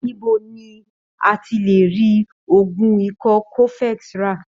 Níbo ni a lè ti rí oògùn ikọ́ cofex rà?